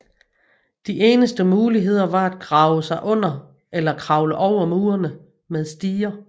De eneste muligheder var at grave sig under eller kravle over murene med stiger